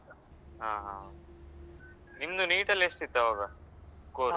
ಹ ಹ ನಿಮ್ದು NEET ಅಲ್ಲಿ ಎಷ್ಟು ಇತ್ತು ಅವಾಗ score ?